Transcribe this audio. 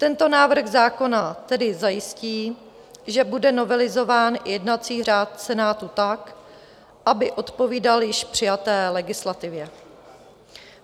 Tento návrh zákona tedy zajistí, že bude novelizován jednací řád Senátu tak, aby odpovídal již přijaté legislativě.